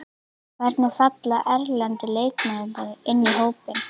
Hvernig falla erlendu leikmennirnir inn í hópinn?